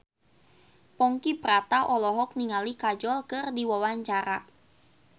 Ponky Brata olohok ningali Kajol keur diwawancara